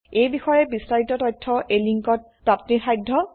এই বিষয়ে বিস্তাৰিত তথ্য এই লিঙ্কত প্ৰাপ্তিসাধ্য